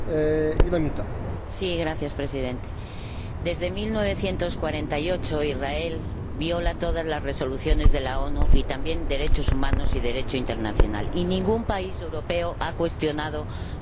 Señor Presidente, desde 1948 Israel viola todas las resoluciones de las Naciones Unidas y también los derechos humanos y el Derecho internacional, y ningún país europeo ha cuestionado su reconocimiento.